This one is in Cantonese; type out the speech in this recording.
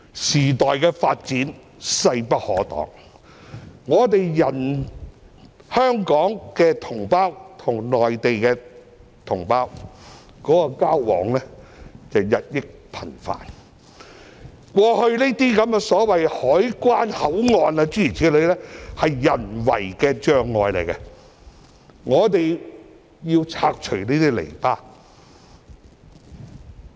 時代的發展勢不可擋，香港與內地同胞的交往日益頻繁，過去這些所謂的關口、口岸其實只是人為障礙，我們需要拆除這些籬笆。